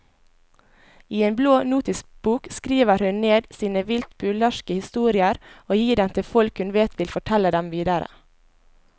I en blå notisbok skriver hun ned sine vilt burleske historier og gir dem til folk hun vet vil fortelle dem videre.